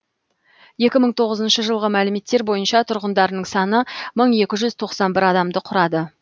екі мың тоғызыншы жылғы мәліметтер бойынша тұрғындарының саны мың екі жүз тоқсан бір адамды құрады